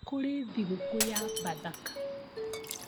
Kũrĩ thigũkũ ya bathaka